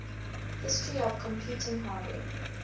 history of computing hardware